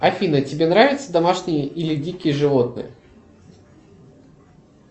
афина тебе нравятся домашние или дикие животные